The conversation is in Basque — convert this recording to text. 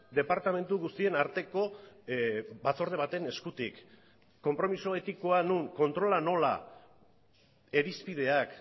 departamentu guztien arteko batzorde baten eskutik konpromiso etikoa non kontrola nola irizpideak